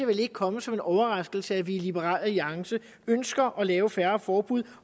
vel ikke komme som en overraskelse at vi i liberal alliance ønsker at lave færre forbud